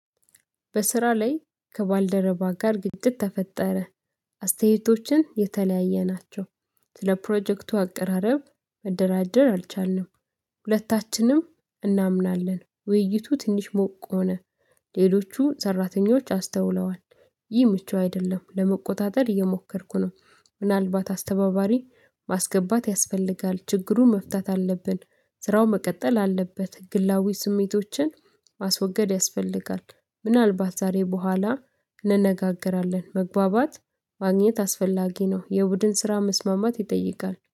በስራ ላይ ከባልደረባ ጋር ግጭት ተፈጠረ። አስተያየቶችን የተለያየ ናቸው ስለ ፕሮጀክቱ አቀራረብ መደራደር አልቻልንም። ሁለታችንም እናምናለን ውይይቱ ትንሽ ሞቅ ሆነ። ሌሎቹ ሰራተኞች አስተውለዋል። ይህ ምቹ አይደለም ለመቆጣጠር እየሞከርኩ ነው ምናልባት አስተባባሪ ማስገባት ያስፈልጋል ችግሩን መፍታት አለብን። ስራው መቀጠል አለበት ግላዊ ስሜቶችን ማስወገድ ያስፈልጋል። ምናልባት ዛሬ በኋላ እንነጋገራለን መግባባት ማግኘት አስፈላጊ ነው። የቡድን ስራ መስማማት ይጠይቃል